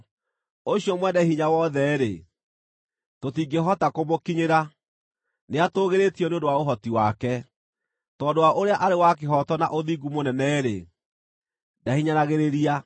Ũcio Mwene-Hinya-Wothe-rĩ, tũtingĩhota kũmũkinyĩra, nĩatũũgĩrĩtio nĩ ũndũ wa ũhoti wake; tondũ wa ũrĩa arĩ wa kĩhooto na ũthingu mũnene-rĩ, ndahinyanagĩrĩria.